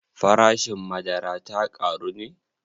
Farashin madara ta ƙaru ne?